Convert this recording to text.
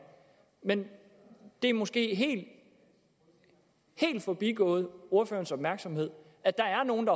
men det er måske helt forbigået ordførerens opmærksomhed at der er nogle